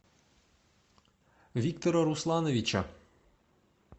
виктора руслановича